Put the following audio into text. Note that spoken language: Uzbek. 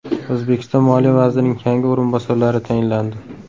O‘zbekiston moliya vazirining yangi o‘rinbosarlari tayinlandi.